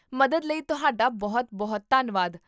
ਮਦਦ ਲਈ ਤੁਹਾਡਾ ਬਹੁਤ ਬਹੁਤ ਧੰਨਵਾਦ